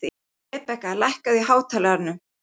Rebekka, lækkaðu í hátalaranum.